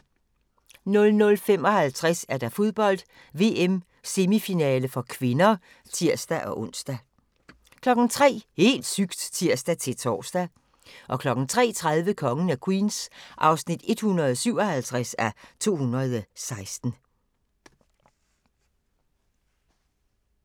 00:55: Fodbold: VM - semifinale (k) (tir-ons) 03:00: Helt sygt! (tir-tor) 03:30: Kongen af Queens (157:216)